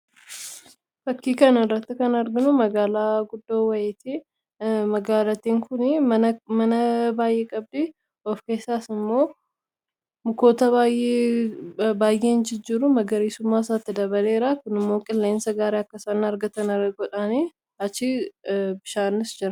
Fakkii kana irratti kan arginu magaalaa guddoo wayiti magaalattiin kuni mana baay'ee qabdi of keessaas immoo mukoota baay'een jijjiiru magariisummaa isaatti dabaleera kunmoo qilleensa gaarii akkasaa argatana godhaanii achii bishaanis jira.